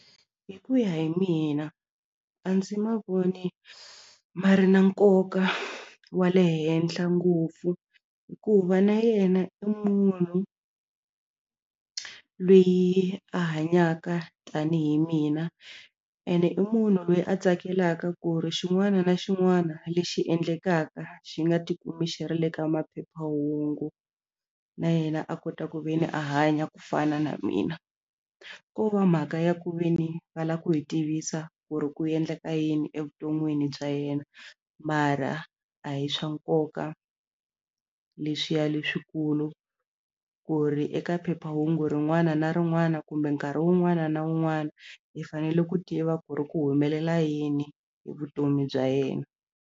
Hi ku ya hi mina a ndzi ma voni ma ri na nkoka wa le henhla ngopfu hikuva na yena i munhu loyi a hanyaka tanihi mina ene i munhu loyi a tsakelaka ku ri xin'wana na xin'wana lexi endlekaka xi nga tikumi xi ri le ka maphephahungu na yena a kota ku ve ni a hanya ku fana na mina ko va mhaka ya ku ve ni va lava ku hi tivisa ku ri ku endleka yini evuton'wini bya yena mara a hi swa nkoka leswiya leswikulu ku ri eka phephahungu rin'wana na rin'wana kumbe nkarhi wun'wana na wun'wana hi fanele ku tiva ku ri ku humelela yini hi vutomi bya yena.